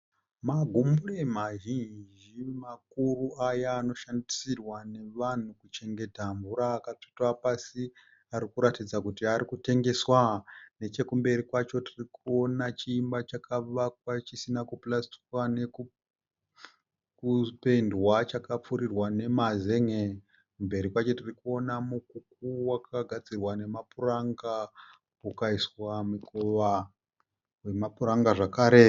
Magumbure mazhinji makuru aya anoshandisirwa nevanhu kuchengeta mvura akatsvetwa pasi ari kuratidza kuti ari kutengeswa. Nechekumberi kwacho tiri kuona chiimba chakavakwa chisina kupurasitwa nekupendwa chakapfurirwa nemazen'e. Mberi kwacho tiri kuona mukuku wakagadzirwa nemapuranga ukaiswa mukova wemapuranga zvakare.